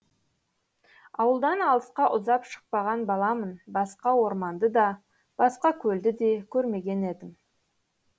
ауылдан алысқа ұзап шықпаған баламын басқа орманды да басқа көлді де көрмеген едім